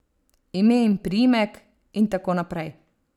Ime in priimek, in tako naprej.